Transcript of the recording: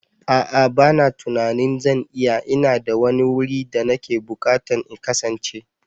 A'a bana tunanin zan iya, ina da wani wuri da nake bukata in kasance.